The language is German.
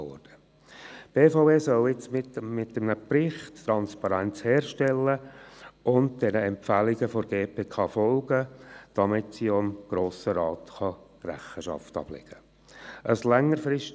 Die BVE soll nun mit einem Bericht Transparenz herstellen und den Empfehlungen der GPK folgen, damit sie dem Grossen Rat gegenüber Rechenschaft ablegen kann.